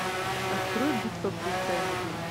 открой битва при фэнудун